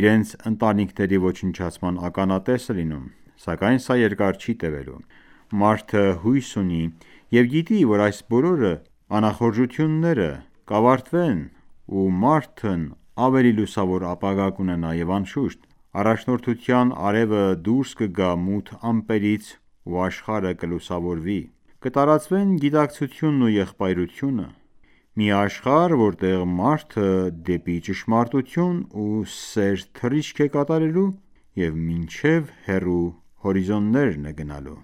իրենց ընտանիքների ոչնչացման ականատեսը լինում: Սակայն սա երկար չի տևելու: Մարդը հույս ունի և գիտի, որ այս բոլոր անախորժությունները կավարտվեն ու մարդն ավելի լուսավոր ապագա կունենա և անշուշտ, առաջնորդության արևը դուրս կգա մութ ամպերից ու աշխարհը կլուսավորվի: Կտարածվեն գիտակցությունը և եղբայրությունը: Մի աշխարհ, որտեղ մարդը դեպի ճշմարտություն ու սեր թռիչք է կատարելու մինչև հեռու հորիզոնները: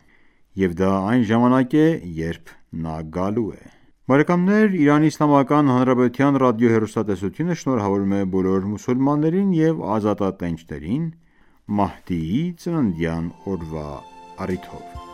Եվ դա այն ժամանակն է, երբ նա գալու է: ԻԻՀ ռադիոհեռուստատեսությունը շնորհավորում է բոլոր մուսուլմաններին և ազատատենչներին՝ Մահդիի ծննդյան օրվա առիթով: